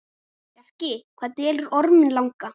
Bjarki, hvað dvelur Orminn langa?